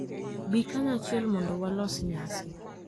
Bi kanyachiel mondo walos nyasi